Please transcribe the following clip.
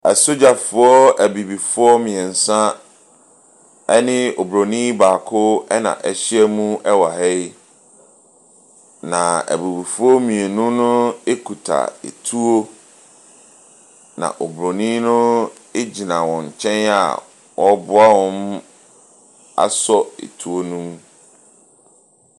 Asogyafoɔ Abibifoɔ mmeɛnsa ne Oburonin baako na wɔahyia mu wɔ ha yi. Na Abibifoɔ mmienu no kita tuo. Na Oburonin no gyina wɔn nkyɛn a ɔreboa wɔn asɔ tuo no mu.